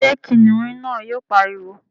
ṣé kìnìún náà yóò pariwo?